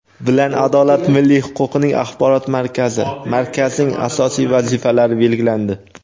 bilan "Adolat" milliy huquqiy axborot markazi (Markaz)ning asosiy vazifalari belgilandi.